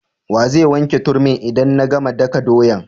Wa zai wanke turmin' idan na gama daka doyan?